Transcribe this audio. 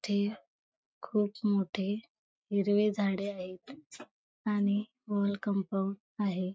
इथे खूप मोठे हिरवे झाडे आहेत आणि वॉल कंपाउंड आहे.